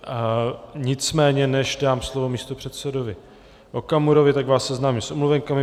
Nicméně než dám slovo místopředsedovi Okamurovi, tak vás seznámím s omluvenkami.